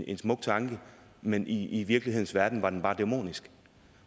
en smuk tanke men i i virkelighedens verden var den bare dæmonisk